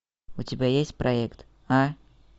у тебя есть проект а